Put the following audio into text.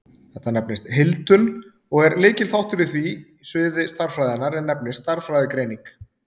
þetta nefnist heildun og er lykilþáttur á því sviði stærðfræðinnar er nefnist stærðfræðigreining